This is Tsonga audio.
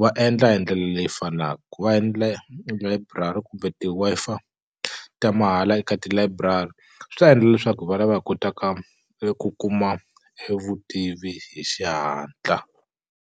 va endla hi ndlela leyi fanaku ku va endla layiburari kumbe ti-Wi-Fi ta mahala eka tilayiburari swi ta endla leswaku hi va hi kotaka eku kuma e vutivi hi xihatla.